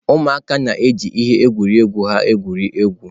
ụmụaka na-eji ihe egwuregwu ha egwuri egwu.